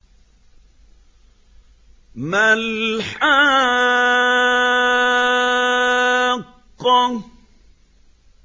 مَا الْحَاقَّةُ